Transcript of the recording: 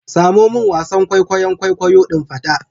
Samo min wasan kwaikwayon kwaikwayo din fada